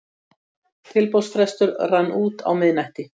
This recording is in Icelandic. Tilboðsfrestur rann út á miðnætti